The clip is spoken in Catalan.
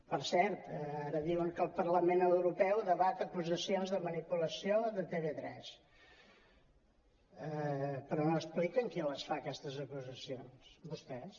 per cert ara diuen que el parlament europeu debat acusacions de manipulació de tv3 però no expliquen qui les fa aquestes acusacions vostès